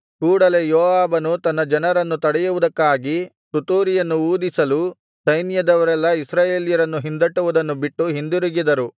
ಕೂಡಲೆ ಯೋವಾಬನು ತನ್ನ ಜನರನ್ನು ತಡೆಯುವುದಕ್ಕಾಗಿ ತುತ್ತೂರಿಯನ್ನು ಊದಿಸಲು ಸೈನ್ಯದವರೆಲ್ಲಾ ಇಸ್ರಾಯೇಲ್ಯರನ್ನು ಹಿಂದಟ್ಟುವುದನ್ನು ಬಿಟ್ಟು ಹಿಂದಿರುಗಿದರು